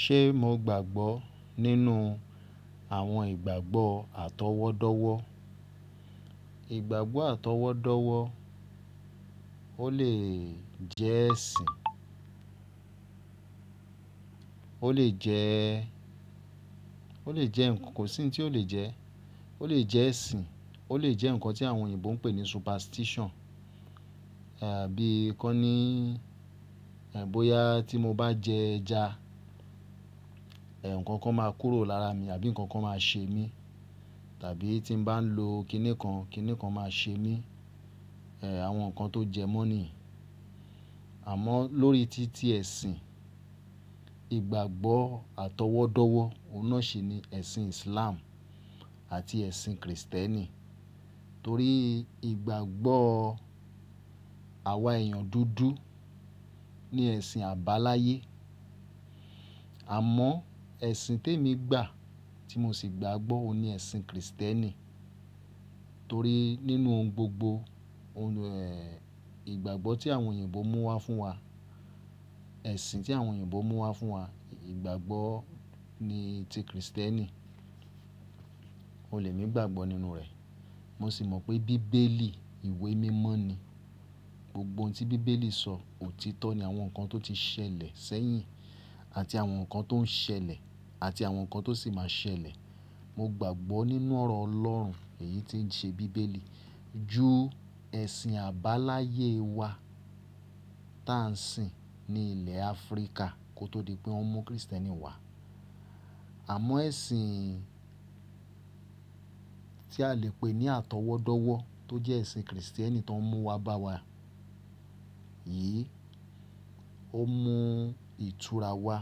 Ṣé mo gbàgbọ́ nínú àwọn ìgbàgbọ́ atọwọ́dọ́wọ́? Ìgbàgbọ́ atọwọ́dọ́wọ́ ó lè jẹ́ ẹ̀sìn, ó lè jẹ́, ó lè jẹ́ ǹkan kò sí ohun tí ò lè jẹ́. Ó lè jẹ́ ẹ̀sìn, ó lè jẹ́ ǹkan tí àwọn òyìnbó ń pè ní superstition. Àbí ǹkan ní, ẹ̀, bóyá tí mo bá jẹ ẹja, ẹ̀, ǹkan kan máa kúrò lára mi àbí ǹkan kan máa ṣe mí, tàbí tí mo bá ń lo kiní kan, kiní kan máa ṣe mí. Ẹ̀, àwọn nǹkan tó jẹ mọ́ ni. Àmọ́ lórí títí ẹ̀sìn, ìgbàgbọ́ atọwọ́dọ́wọ́, òun náà sì ni ẹ̀sìn Islam àti ẹ̀sìn Kristẹni. Torí ìgbàgbọ́ àwa èèyàn dúdú ni ẹ̀sìn àbáláyé. Àmọ́ ẹ̀sìn tó ń mi gbà tí mo sì gbàgbọ́ òun ni ẹ̀sìn Kristẹni. Torí nínú ohun gbogbo, òun ni ẹ́, ìgbàgbọ́ tí àwọn òyìnbó mú wá fún wa, ẹ̀sìn tí àwọn òyìnbó mú wá fún wa, ìgbàgbọ́ ni ti Kristẹni. Ó lè ní ìgbàgbọ́ nínú rẹ̀. Mo sì mọ̀ pé Bíbélì ìwé mímọ́ ni. Gbogbo ohun tí Bíbélì sọ òtítọ́ ni àwọn nǹkan tó ti ṣẹlẹ̀ sẹ́yìn àti àwọn nǹkan tó ń ṣẹlẹ̀ àti àwọn nǹkan tó sì máa ṣẹlẹ̀. Mo gbàgbọ́ nínú ọ̀rọ̀ Ọlọ́run èyí tí ń ṣe Bíbélì ju ẹ̀sìn àbáláyé wá tí à ń sìn ní ilẹ̀ Áfíríkà kó tó di pé wọ́n mú Kristẹni wá. Àmọ́ ẹ̀sìn tí a lè pè ní atọwọ́dọ́wọ́ tó jẹ́ ẹ̀sìn Kristẹni tó ń mú wá bá wa yìí, ó mú ìtura wá.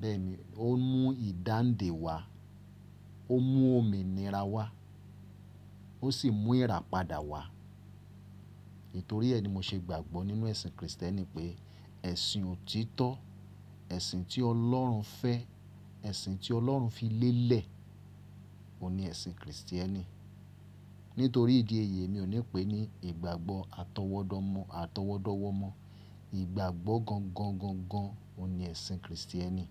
Bẹ́ẹ̀ ni ó mú ìdáǹdè wá, ó mú òmìnira wá, ó sì mú ìràpadà wá. Nítorí ẹ́ ni mo ṣe gbàgbọ́ nínú ẹ̀sìn Kristẹni pé ẹ̀sìn òtítọ́, ẹ̀sìn tí Ọlọ́run fẹ́, ẹ̀sìn tí Ọlọ́run fi lélẹ̀ òun ni ẹ̀sìn Kristẹni. Nítorí ìdí èyí mi ò ní pè é ní ìgbàgbọ́ atọwọ́dọ́ mọ́ atọwọ́dọ́wọ́ mọ́. Ìgbàgbọ́ gangan, gangan, gangan òun ni ẹ̀sìn Kristẹni.